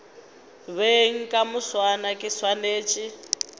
beng ka moswane ke swanetše